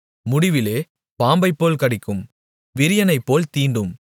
முடிவிலே அது பாம்பைப்போல் கடிக்கும் விரியனைப்போல் தீண்டும்